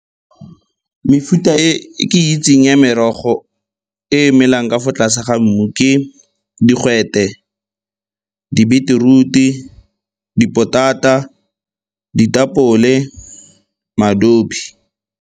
Mefuta e ke e itseng ya merogo e e melang ka fa tlase ga mmu ke digwete, di-beetroot-i, dipotata, ditapole, .